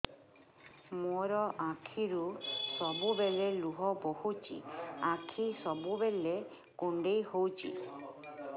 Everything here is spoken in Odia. ମୋର ଆଖିରୁ ସବୁବେଳେ ଲୁହ ବୋହୁଛି ଆଖି ସବୁବେଳେ କୁଣ୍ଡେଇ ହଉଚି